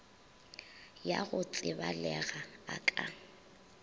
ya go tsebalega a ka